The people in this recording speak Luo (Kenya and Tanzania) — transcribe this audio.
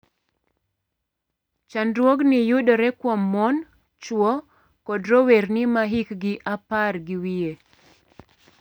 Chandruogni yudore kuom mon, chwo kod rowerni ma hikgi apar gi wiye.